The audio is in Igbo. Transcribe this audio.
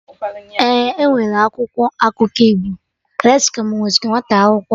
Ee, enwere akwụkwọ akụkọ Igbo